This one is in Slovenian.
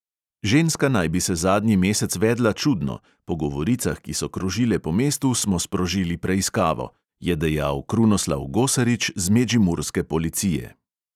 "Ženska naj bi se zadnji mesec vedla čudno, po govoricah, ki so krožile po mestu, smo sprožili preiskavo," je dejal krunoslav gosarič z medžimurske policije.